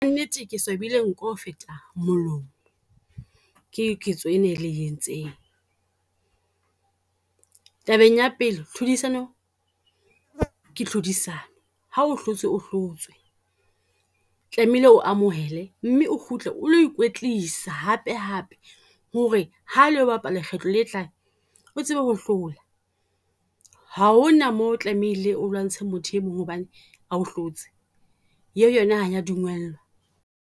Nnete ke swabile nko ho feta molomo, ke ketso ena e le e entseng. Tabeng ya pele tlhodisano ke tlhodisano, ha o hlotse o hlotswe. Tlamehile o amohele mme o kgutle o lo ikwetlisa hape hape. Ho re ha le lo bapala lekgetlo le tlang, o tsebe ho hlola. Ha hona moo tlameile o lwantsha motho e mong hobane o hlotse. E o yona ha e ya dumellwa.